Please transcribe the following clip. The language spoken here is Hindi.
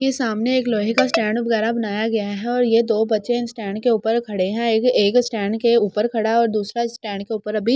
ये सामने एक लोहे का स्टैंड वगेरा बनाया गया है और यो दो बच्चे स्टैंड के उपर खड़े है और दूसरा एक स्टैंड उपर अभी --